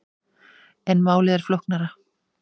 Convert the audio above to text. En málið er flóknara.